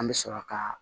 An bɛ sɔrɔ ka